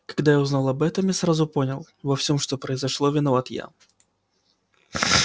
когда я узнал об этом я сразу понял во всем что произошло виноват я